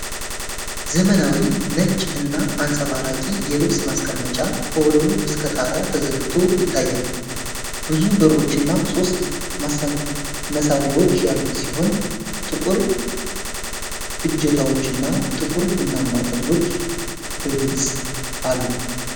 ዘመናዊ፣ ነጭ እና አንጸባራቂ የልብስ ማስቀመጫ ከወለሉ እስከ ጣሪያ ተዘርግቶ ይታያል። ብዙ በሮችና ሶስት መሳቢያዎች ያሉት ሲሆን፣ ጥቁር እጀታዎች እና ጥቁር ቡናማ ጠርዞች በግልጽሉ።